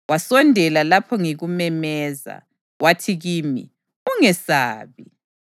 Wasondela lapho ngikumemeza, wathi kimi, “Ungesabi.”